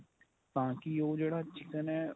ਤਾਂ ਕੀ ਉਹ ਜਿਹੜਾ chicken ਏ